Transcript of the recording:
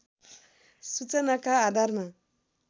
सूचनाका आधारमा